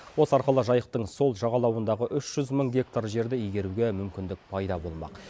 осы арқылы жайықтың сол жағалауындағы үш жүз мың гектар жерді игеруге мүмкіндік пайда болмақ